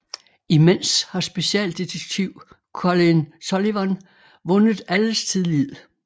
Imens har specialdetektiv Colin Sullivan vundet alles tillid